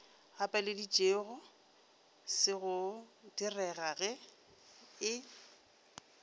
gapeleditšego se go direga e